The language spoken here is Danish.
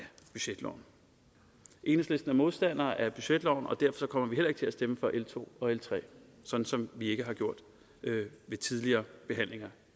budgetloven enhedslisten er modstandere af budgetloven og derfor kommer vi heller ikke til at stemme for l to og l tre som som vi heller ikke har gjort ved tidligere behandlinger